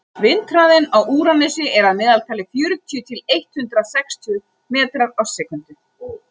vindhraðinn á úranusi er að meðaltali fjörutíu til eitt hundruð sextíu metrar á sekúndu